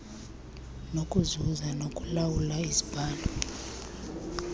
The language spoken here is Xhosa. nokuzuza nokulawula izibhalo